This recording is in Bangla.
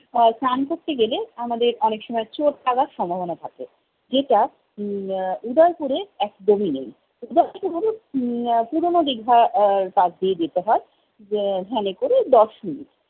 আহ স্নান করতে গেলে আমাদের অনেক সময় চোট লাগার সম্ভাবনা থাকে। যেটা উম আহ উদয়পুরে একদম ই নেই। উদয়পুর উম আহ পুরোনো দীঘা আর পাশ দিয়ে যেতে হয়। আহ van এ করে দশ মিনিট।